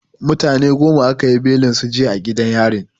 Mutane goma aka yi belin su jiya a gidan yarin.